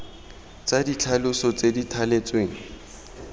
tsa ditlhaloso tse di thaletsweng